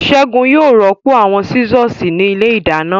Ségun yóò rọ́pò àwọn Sísọ̀sì ní ilé ìdáná